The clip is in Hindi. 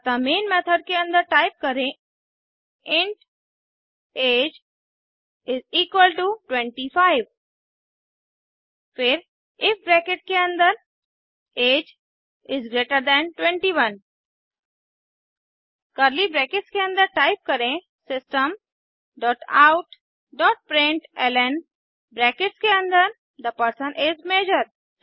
अतः मेन मेथड के अन्दर टाइप करें int age is equal to 25 फिर इफ ब्रैकेट के अन्दर age is greater than 21 curly brackets के अन्दर टाइप करें system dot out dot println bracket के अन्दर थे पर्सन इस मजोर